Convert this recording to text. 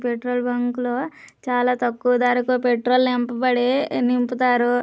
Petrol bunk లో చాలా తక్కువ ధరకు పెట్రోల్ నింపబడి నింపుతారు.